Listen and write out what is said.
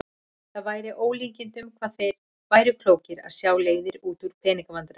Það væri með ólíkindum hvað þeir væru klókir að sjá leiðir út úr pening- vandræðum.